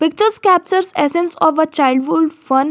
some captures essence of a childhood fun.